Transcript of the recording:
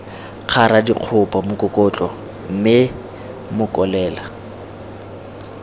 kgara dikgopo mokokotlo mme mokolela